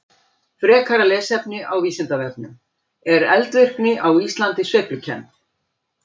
Frekara lesefni á Vísindavefnum: Er eldvirkni á Íslandi sveiflukennd?